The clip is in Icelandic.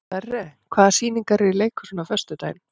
Sverre, hvaða sýningar eru í leikhúsinu á föstudaginn?